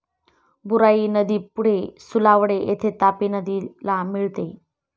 बुराई नदी पुढे सुलावडे येथे तापी नदीला मिळते.